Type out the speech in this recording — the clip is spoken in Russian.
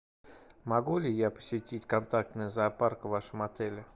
могу ли я посетить контактный зоопарк в вашем отеле